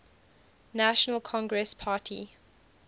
national congress party